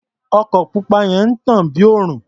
Ọkọ̀ pupa yẹn ń tàn bí òrùn.